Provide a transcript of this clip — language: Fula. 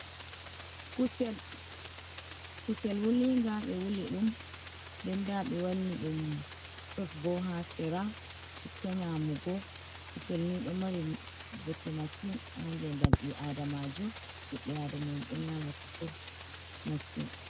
Kusel, kusel wuliga, ɓe wuli ɗum. Nɗen ɗa ɓe wanni ɗum sos bo ha sera. chitta nyamugo. Kusel ni ɗo mari ɓote masin ha ngeɗam ɓi aɗamajo. Ɓiɓɓe aɗamaen ɗo nyama kusel masin.